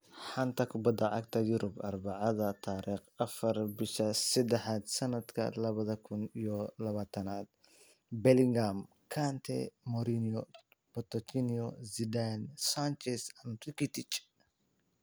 Xanta Kubadda Cagta Yurub Arbacada tariq afar bisha sedaxad sanadka labada kun iyo labatanad: Bellingham, Kane, Mourinho, Pochettino, Zidane, Sanchez, Rakitic